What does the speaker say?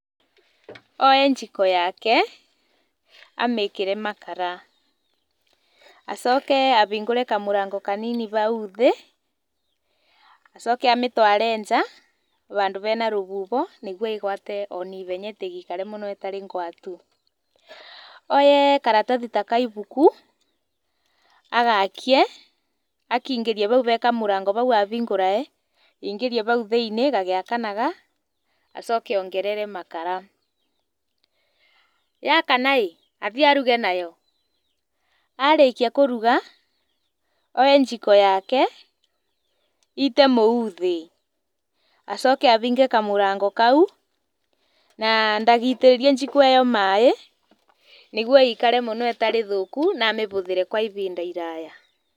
Oe njiko yake amĩkĩre makara acoke ahingũre kamũrango kanini hau thĩ, acoke amĩtware nja handũ hena rũhuho nĩguo ĩgwate o naihenya ndĩgaikare mũno ĩtarĩ ngwatu. Oye karatathi ta gaibuku agakie akaingĩrie hau hee kamũrango kau ahingũra aingĩrie hau thĩinĩ gagĩakanaga, acoke ongerere makara. Yakana ĩ athiĩ aruge nayo arĩkia kũruga oe njiko yake aite mũhu thĩ, acoke ahinge kamũrango kau na ndagaitĩrĩrie njiko ĩyo maaĩ nĩguo ĩikare mũno ĩtarĩ thũku na amĩhũthĩre kwa ihinda iraya.